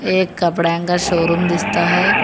एक कपड़ा का शोरूम दिखता है।